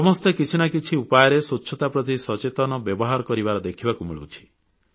ସମସ୍ତେ କିଛି ନା କିଛି ଉପାୟରେ ସ୍ୱଚ୍ଛତା ପ୍ରତି ସଚେତନ ବ୍ୟବହାର କରିବାର ଦେଖିବାକୁ ମିଳୁଛି